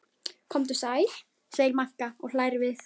Komdu sæl, segir Magga og hlær við.